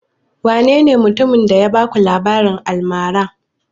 Wanene mutumin da ya baku labarin almarar?